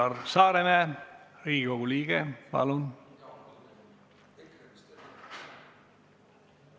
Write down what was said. Üllar Saaremäe, Riigikogu liige, palun!